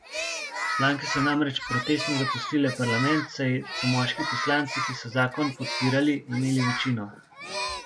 Poslanke so namreč protestno zapustile parlament, saj so moški poslanci, ki so zakon podpirali, imeli večino.